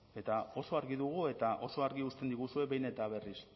eta oso argi dugu eta oso argi uzten diguzue behin eta berriz